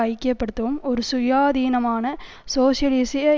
ஐக்கிய படுத்தும் ஒரு சுயாதீனமான சோசியலிசிய